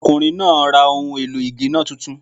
Ọkùnrin náà ra ohun èlò ì géná titun